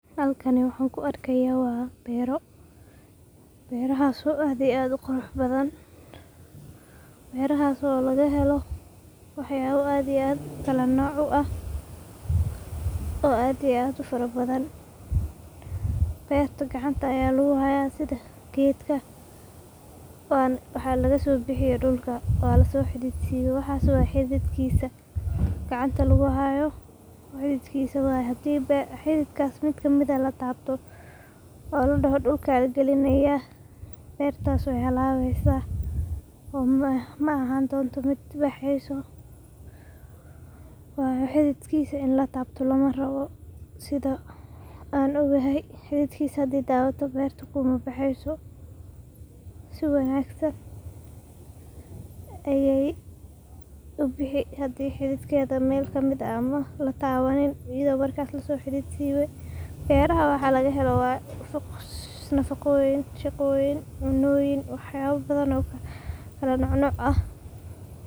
Halkani waxaa ku arkaaya waa beero, beerahaas oo ah kuwa aad uqurux badan, beerahaas oo laga helo wax yaabo aad iyo aad kala nooc u ah, oo aad iyo aad ufara badan, beerta gacanta ayaa lagu haaya sida geedka dulka laga soo bixiye, waa lasoo xidid siibe, waxaas waa xididkiisa, hadiiba xididkaas mid kamid ah lataabto, oo ladoho dulka lagalinaaya beertaas weey halaabeysa, oo maahaan doonto mid baxeyso, waayo xididkiisa in lataabto lama ogolo, sida aan ogahay xididkiisa hadii lataabto mabaxeyso si wanagsan, beeraha waxa laga helo waa nafaqooyin, shaqoyin, cuntooyin, kala nooc nooc ah.